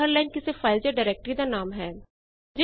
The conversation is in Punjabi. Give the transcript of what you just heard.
ਫਾਇਲ ਦੀ ਹਰ ਲਾਈਨ ਕਿਸੇ ਫਾਈਲ ਜਾਂ ਡਾਇਰੈਕਟਰੀ ਦਾ ਨਾਮ ਹੈ